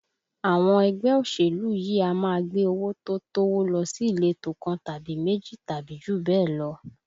Àwọn ẹgbẹ́ òṣèlú yìí a máa gbé owó tó tówó lọ sí ìletò kan tàbí méjì tàbí jù bẹ́ẹ̀ lọ